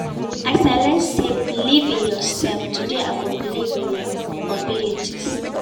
As I learn sey believe in yourself, today I go believe in my abilities